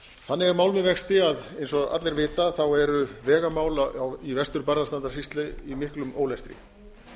er mál með vexti að eins og allir vita eru vegamál í vestur barðastrandarsýslu í miklum ólestri